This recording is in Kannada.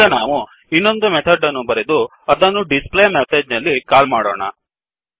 ಈಗ ನಾವು ಇನ್ನೊಂದು ಮೆಥಡ್ ಅನ್ನು ಬರೆದು ಅದನ್ನು ಡಿಸ್ ಪ್ಲೇ ಮೆಸೇಜ್ ನಲ್ಲಿ ಅದನ್ನು ಕಾಲ್ ಮಾಡೋಣ